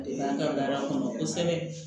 De an ka baara kɔnɔ kosɛbɛ